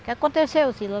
O que aconteceu, Cila?